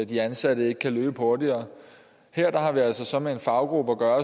de ansatte ikke kan løbe hurtigere her har vi altså så med en faggruppe at gøre